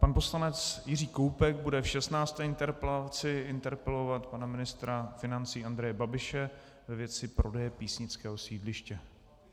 Pan poslanec Jiří Koubek bude v 16. interpelaci interpelovat pana ministra financí Andreje Babiše ve věci prodeje písnického sídliště.